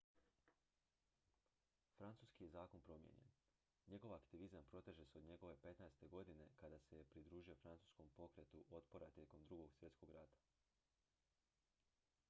francuski je zakon promijenjen njegov aktivizam proteže se od njegove 15. godine kada se je pridružio francuskom pokretu otpora tijekom ii svjetskog rata